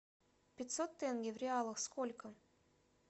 пятьсот тенге в реалах сколько